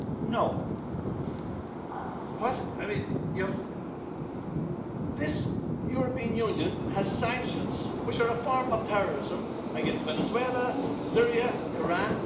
No. This European Union has sanctions, which are a form of terrorism, against Venezuela, Syria, Iran.